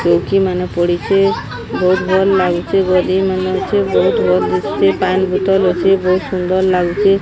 ଚୌକି ମାନେ ପଡ଼ିଚେ ବହୁତ ଭଲ ଲାଗୁଚେ ଗଦି ମାନେ ଅଛେ ବହୁତ ଭଲ ଲାଗୁଚେ ପାଣି ବୋତଲ ଅଛେ ବହୁତ ସୁନ୍ଦର ଲାଗୁଚେ।